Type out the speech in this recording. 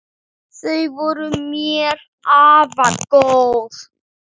Þau voru mér afar góð.